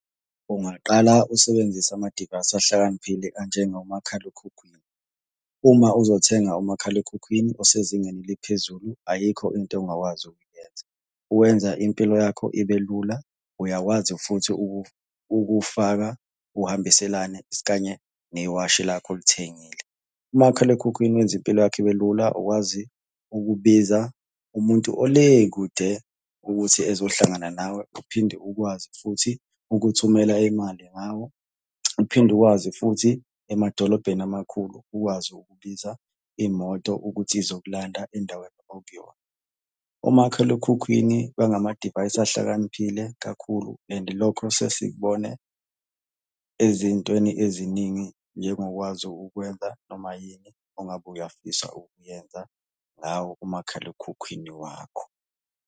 Ungaqala usebenzise ama-device ahlakaniphile anjengomakhalekhukhwini. Uma uzothenga umakhalekhukhwini osezingeni eliphezulu ayikho into ongakwazi ukuyenza. Wenza impilo yakho ibe lula, uyakwazi futhi ukufaka uhambiselane isikanye newashi lakho olithengile. Umakhalekhukhwini wenza impilo yakho ibe lula, ukwazi ukubiza umuntu ole kude ukuthi ezohlangana nawe, uphinde ukwazi futhi ukuthumela imali ngawo, uphinde ukwazi futhi emadolobheni amakhulu ukwazi ukubiza imoto ukuthi izokulanda endaweni okuyona. Omakhalekhukhwini bangamadivayisi ahlakaniphile kakhulu and lokho sesikubone ezintweni eziningi njengokwazi ukwenza noma yini ongabe uyafisa ukuyenza ngawo umakhalekhukhwini wakho.